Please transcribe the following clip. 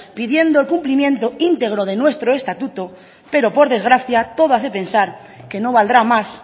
pidiendo el cumplimiento íntegro de nuestro estatuto pero por desgracia todo hace pensar que no valdrá más